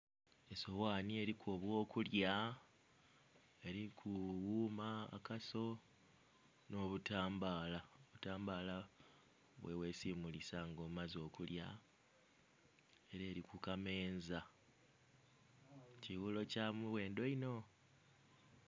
Esoghanhi eriku eby'okulya eriku wuma, akaso, n'obutambaala, obutambaala bweghesimulisa nga omaze okulya, era eri ku kameeza. Kighulo kya mughendho inho.